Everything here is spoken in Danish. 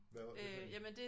Hvad var det for én?